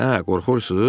Hə, qorxursunuz?